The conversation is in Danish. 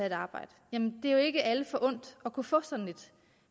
et arbejde jamen det er jo ikke alle forundt at kunne få sådan et